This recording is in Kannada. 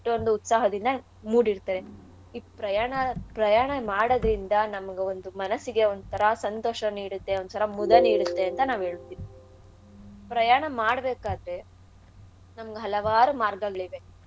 ಎಷ್ಟೊಂದು ಉತ್ಸಾಹದಿಂದ ಮೂಡಿರ್ತಾರೆ. ಈ ಪ್ರಯಾಣ ಪ್ರಯಾಣ ಮಾಡೋದ್ರಿಂದ ನಮ್ಗ್ ಒಂದ್ ಮನಸ್ಸಿಗೆ ಒಂಥರಾ ಸಂತೋಷ ನೀಡುತ್ತೆ ಒಂಥರಾ ಮುದ ನೀಡುತ್ತೆ ಅಂತ ನಾನ್ ಹೇಳ್ತೀನಿ. ಪ್ರಯಾಣ ಮಾಡ್ಬೇಕಾದ್ರೆ ನಮ್ಗ್ ಹಲವಾರು ಮಾರ್ಗಗಳಿವೆ.